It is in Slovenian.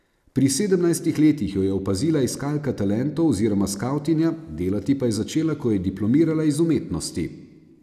Pri sedemnajstih letih jo je opazila iskalka talentov oziroma skavtinja, delati pa je začela, ko je diplomirala iz umetnosti.